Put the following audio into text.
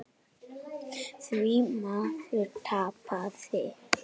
Því maður tapaði.